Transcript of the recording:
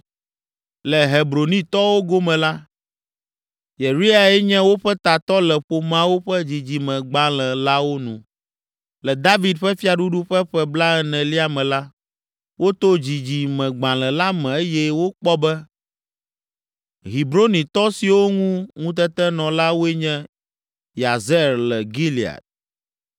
Le Hebronitɔwo gome la, Yeriae nye woƒe tatɔ le ƒomeawo ƒe dzidzimegbalẽ lawo nu. Le David ƒe fiaɖuɖu ƒe ƒe blaenelia me la, woto dzidzimegbalẽ la me eye wokpɔ be, Hebronitɔ siwo ŋu ŋutete nɔ la woe nye, Yazer le Gilead,